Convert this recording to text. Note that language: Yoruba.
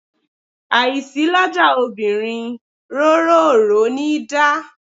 Àìsí lọ́jà obìnrin róroòró níi dá.